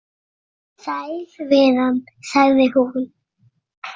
Sæl vinan, sagði hún.